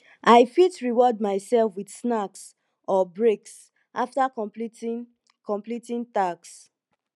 i fit reward myself with snacks or breaks after completing completing tasks